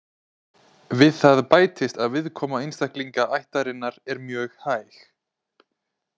Við það bætist að viðkoma einstaklinga ættarinnar er mjög hæg.